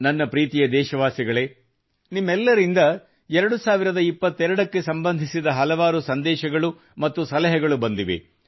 ನನ್ನ ಪ್ರೀತಿಯ ದೇಶವಾಸಿಗಳೇ ನಿಮ್ಮೆಲ್ಲರಿಂದ 2022 ಕ್ಕೆ ಸಂಬಂಧಿಸಿದ ಹಲವಾರು ಸಂದೇಶಗಳು ಮತ್ತು ಸಲಹೆಗಳು ಬಂದಿವೆ